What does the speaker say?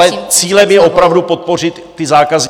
Ale cílem je opravdu podpořit ty zákazníky...